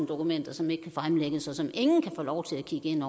dokumenter som ikke kan fremlægges og som ingen kan få lov til at kigge ind